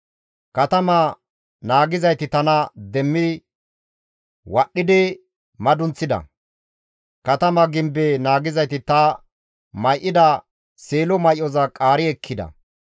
Katama naagizayti tana demmi wadhdhidi madunththida; katama gimbe naagizayti ta may7ida seelo may7oza qaari ekkida.